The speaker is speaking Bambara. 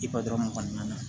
I patɔrn kɔni na